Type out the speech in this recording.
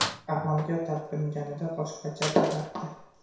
“Amalga talpinganida boshqacha bo‘lardi”.